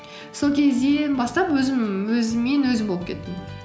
сол кезден бастап өзіммен өзім болып кеттім